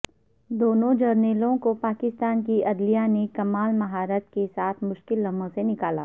دونوں جرنیلوں کو پاکستان کی عدلیہ نے کمال مہارت کے ساتھ مشکل لمحوں سے نکالا